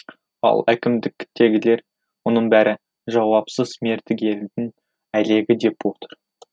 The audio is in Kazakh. ал әкімдіктегілер мұның бәрі жауапсыз мердігердің әлегі деп отыр